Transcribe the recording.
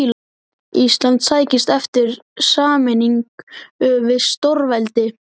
Ísland sækist eftir sameiningu við stórveldi.